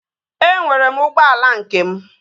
Enwere m ụgbọala nke m